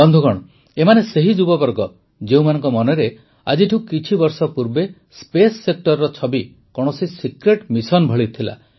ବନ୍ଧୁଗଣ ଏମାନେ ସେହି ଯୁବବର୍ଗ ଯେଉଁମାନଙ୍କ ମନରେ ଆଜିଠୁ କିଛି ବର୍ଷ ପୂର୍ବେ ସ୍ପେସ୍ ସେକ୍ଟରର ଛବି କୌଣସି ସିକ୍ରେଟ୍ ମିଶନ୍ ଭଳି ଥିଲା